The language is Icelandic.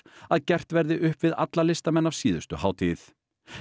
að gert verði upp við alla listamenn af síðustu hátíð